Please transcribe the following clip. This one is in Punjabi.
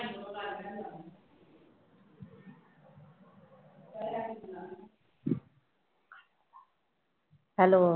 Hello